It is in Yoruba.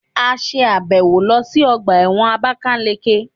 A ṣe àbẹ̀wò lọ sí ọgbà ẹ̀wọ̀n àbákáleke